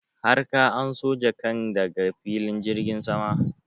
har ka anso jakan ka daga filin jirgin sama?